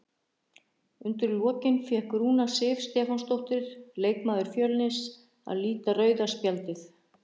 Undir lokin fékk Rúna Sif Stefánsdóttir, leikmaður Fjölnis, að líta rauða spjaldið.